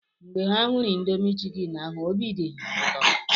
Mgbe ha hụrụ indomi chikini ahụ, obi di ha ụtọ